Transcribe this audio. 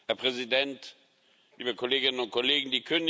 Herr Präsident, liebe Kolleginnen und Kollegen!